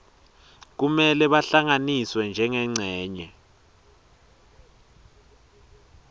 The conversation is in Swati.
kumele bahlanganiswe njengencenye